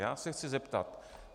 Já se chci zeptat.